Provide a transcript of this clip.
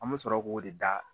An be sɔrɔ k'o de da